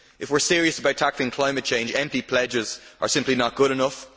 If we are serious about tackling climate change, empty pledges are simply not good enough.